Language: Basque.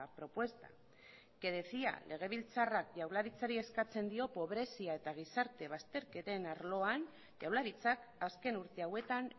propuesta que decía legebiltzarrak jaurlaritzari eskatzen dio pobrezia eta gizarte bazterketen arloan jaurlaritzak azken urte hauetan